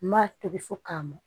N m'a tobi fɔ ka mɔ